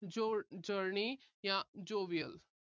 ਜ ਅਹ journey ਜਾਂ jovier